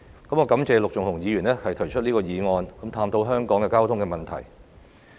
我感謝陸頌雄議員提出這項議案，探討香港的交通問題。